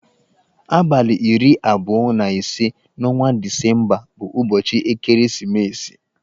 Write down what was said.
Abalị iri abụọ na ise n'ọnwa Disemba bụ ụbọchị ekeresimesi.